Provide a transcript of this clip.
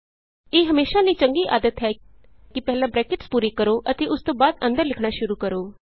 ਇਹ ਹਮੇਸ਼ਾ ਲਈ ਚੰਗੀ ਆਦਤ ਹੈ ਕਿ ਪਹਿਲਾਂ ਬਰੈਕਟਸ ਪੂਰੀ ਕਰੋ ਅਤੇ ਉਸਤੋਂ ਬਾਅਦ ਅੰਦਰ ਲਿਖਣਾ ਸ਼ੁਰੂ ਕਰੋ